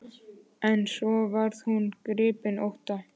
En svo varð hún gripin ótta.